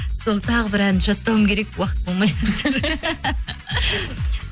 сол тағы бір ән жаттауым керек уақыт болмай